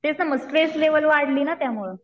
ते म stress level वाढली ना त्यामुळं.